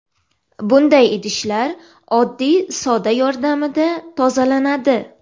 Bunday idishlar oddiy soda yordamida tozalanadi.